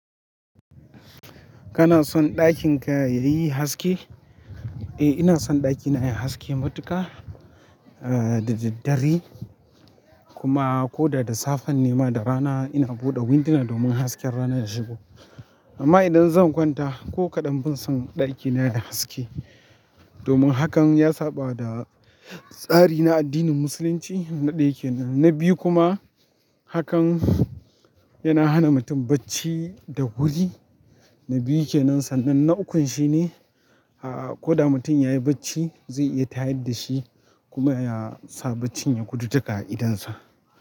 Kana son ɗakin ka yayi haske? Eh ina son ɗakina yayi haske matuka ah da daddare kuma koda da safen ne ma da rana ina buɗe windina domin hasken rana ya shigo amma idan zan kwanta ko kaɗan ban son ɗakina yayi haske domin hakan ya saɓawa da tsari na addinin musulunci na ɗaya yake nan. Na biyu kuma hakan yana hana mutum bacci da wuri, na biyu yake nan sannan na ukun shine ah ko da mutum yayi bacci zai iya tayar da shi kuma ya sa bacci ya gudu daga idonsa.